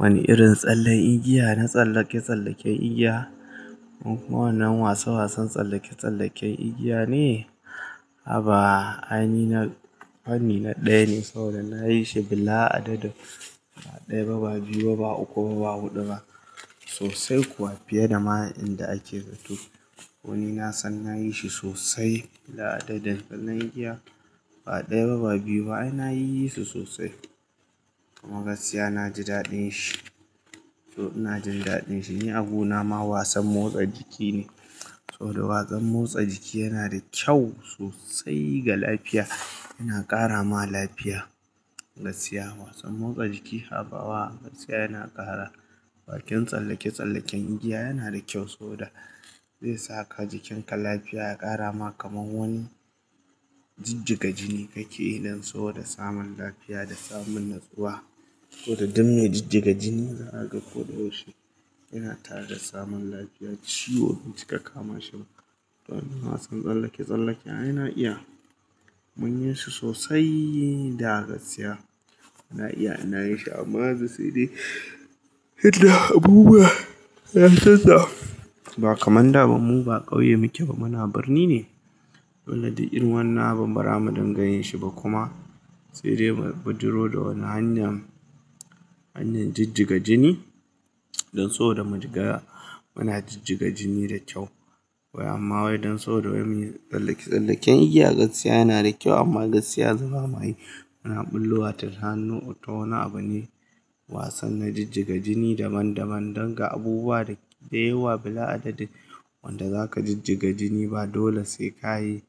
Wani irin tsalle igiya na tsallake-tsallaken igiya. Wannan wasan wasan tsallake-tsallaken igiya ne. Haba ainihi na fanni na ɗaya ne, saboda na yi shi bila adadin. Ba ɗaya ba, ba biyu ba, ba uku ba, ba hudu ba. Sosai kuwa fiye da ma in da ake zaton. Koni na san na yi shi sosai. Bila adadin tsallen igiya. Ba ɗaya ba, ba biyu ba. Ai na yi su sosai. Gaskiya na ji daɗin shi. To ina jin daɗin shi. Ni a guna ma wasan motsa jiki ne. Saboda wasan motsa jiki yana da kyau sosai ga lafiya. Yana ƙara ma lafiya. Gaskiya wasan motsa jiki haba wa gaskiya yana ƙara. Bakin tsallake-tsallaken igiya yana da kyau saboda zai saka jikinka lafiya, ya ƙara ma kamar wani jijjiga jini kake yi. Don saboda samun lafiya da samun natsuwa. Saboda duk me jijjiga jini za a ga kodayaushe. Yana tareda samun lafiya ciwo bai ci ka kama shi ba. Wannan wasan tsallake-tsallake ai na iya mun yi su sosai. Da gaskiya na iya ina yin shi amma sai dai idan abubuwa ya tatta ba kamar da ba mu ba ƙauye muke ba muna birni ne. Dole duk irin wannan abun bara mu dinga yin shi ba kuma. Sai dai mu bijiro da wani hanya, hanyar jijjiga jini don sabo da mu shiga muna jijjiga jini da kyau. Wai amma wai don saboda wai muyi tsallake-tsallaken igiya gaskiya yana da kyau amma gaskiya yanzu bama yi muna ɓullo wa ta hanyar wata wani abu ne. Wasan na jijjiga jini daban-daban don ga abubuwa da yawa bila adadin wanda za ka jijjiga jini ba dole sai ka yi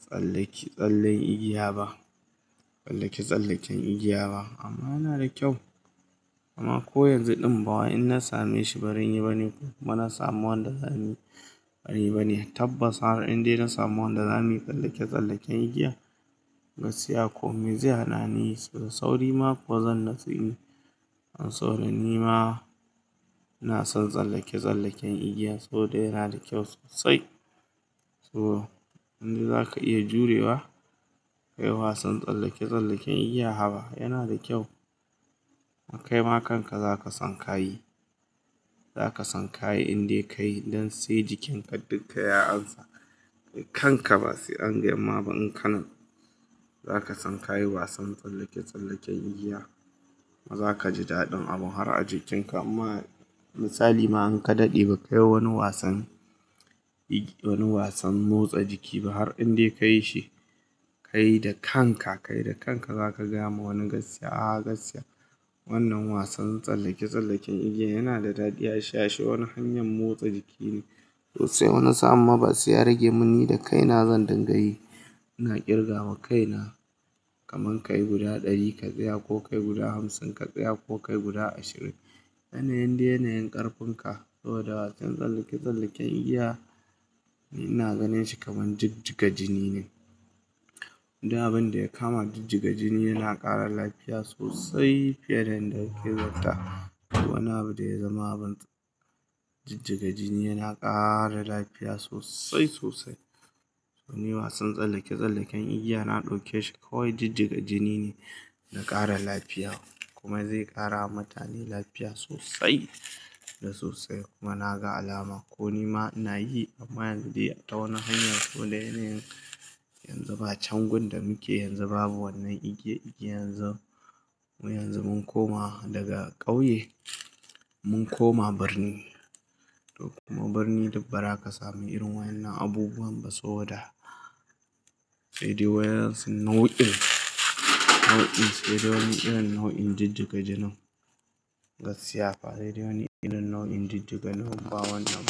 tsallake tsallen igiya ba. Tsallake-tsallaken igiya ba. Amma yana da kyau. Amma ko yanzu ɗin ba wai in na same shi barin yi bane ko kuma na samu wanda zani barin bane. Tabbas har in dai na samu wanda zamuyi tsallake-tsallaken igiya gaskiya kome zai hana ni yi. Da sauri ma kuwa zan natsu inyi. Don saboda ni ma ina son tsallake-tsallaken igiya saboda yana da kyau sosai. To in za ka iya jurewa kai wasan tsallake-tsallaken igiya haba yana da kyau. Ma kai ma kanka za ka san ka yi. Za ka san ka yi in dai ka yi don sai jikinka dukka ya ansa kanka ba sai an yi amma ba in ka nan. Za ka san ka yi wasan tsallake-tsallaken igiya. Kuma za ka ji daɗin abun har a jikinka amma misali ma an ka daɗe ba ka yi wani wasan igiya wani wasan motsa jiki ba har in dai ka yi shi ka yi da kanka. Ka yi da kanka za ka gayama wani gaskiya. A gaskiya wannan wasan tsallake-tsallaken igiya yana da daɗi. Ya sha wani hanyar motsa jiki ne sosai. Wani sa'an ma ba sai ya rage mun ni da kai na zan dinga yi. Na kirga wa kaina kamar ka yi guda ɗari ka tsaya ko ka yi guda hamsin ka tsaya ko ka yi guda ashirin. Yanayin dai yanayin ƙarfin ka. Saboda wasan tsallake-tsallaken igiya ina ganin shi kamar jijjiga jini ne. Abin da ya kama jijjiga jini yana ƙara lafiya sosai fiye da inda yake zata. Wani abu da ya zama abin jijjiga jini yana ƙara lafiya sosai sosai. To ni wasan tsallake-tsallaken igiya na ɗauke shi kawai jijjiga jini ne na ƙara lafiya kuma zai ƙara wa mutane lafiya sosai da sosai. Kuma na ga alama. Ko ni ma ina yi amma yanzu dai a ta wani hanya. Saboda yanayin yanzu ba changun da muke yanzu babu wannan igiya igiyan. Yanzu mu yanzu mun koma daga ƙauye mun koma birni. Kuma birni duk bara ka sami irin wannan abubuwan ba saboda sai dai waya rin sun nau in. Nau in sai dai wani irin nau in jijjiga jinin. Gaskiya fa sai dai wani irin nau in jijjiga jinin amma ba wannan.